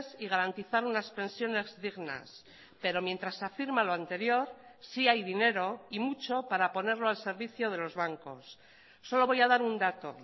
y garantizar unas pensiones dignas pero mientras afirma lo anterior sí hay dinero y mucho para ponerlo al servicio de los bancos solo voy a dar un dato